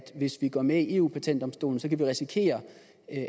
hvis vi går med i eu patentdomstolen kan vi risikere